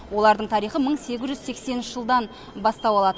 олардың тарихы мың сегіз жүз сексенінші жылдан бастау алады